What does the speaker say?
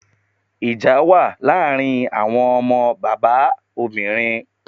Ìjà wà ní àárín àwọn ọmọ bàbá obìnrin.